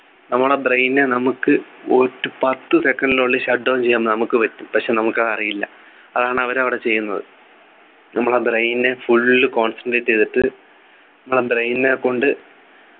നമ്മുടെ brain നെ നമുക്ക് ഒരു പത്ത് second ഉള്ളിൽ shut down ചെയ്യാൻ നമുക്ക് പറ്റും പക്ഷെ നമുക്കത് അറിയില്ല അതാണ് അവരവിടെ ചെയ്യുന്നത നമ്മളെ brain നു full concentrate ചെയ്തിട്ട് മ്മളെ brain നെ കൊണ്ട്